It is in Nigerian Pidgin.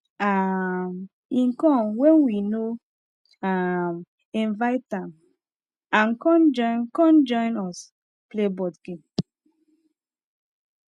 um him come when we no um invite am and come join come join us play board game